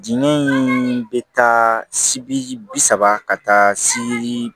Diinɛ in bɛ taa sibi saba ka taa si